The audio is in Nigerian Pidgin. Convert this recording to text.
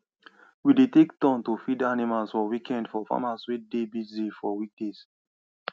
we dey dey take turn to feed animals for weekend for farmers wey dey busy for weekday